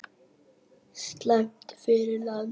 Slæmt fyrir landið!